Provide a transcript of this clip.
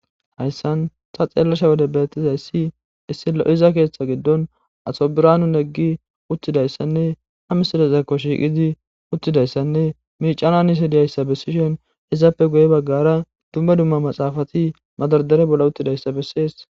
Ayssan sa xeellasha wode beettizayssi issi lo7iza keeththa giddon asobiranu neggi uttidayssanne ha misidasekko shiiqidi uttidayssanne miicananise diyayssa bessishen izaappe guye baggara dumma dumma maxaafati madardere bolla uttidayssa bessees.